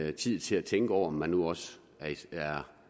en tid til at tænke over om man nu også er